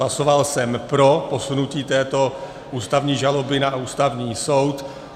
Hlasoval jsem pro posunutí této ústavní žaloby na Ústavní soud.